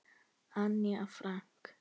Anne Frank.